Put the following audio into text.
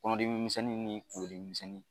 Kɔnɔdimi misɛnnin ni kungolo dimi misɛnnin